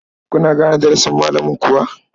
Kuna gane darasin malamin kuwa?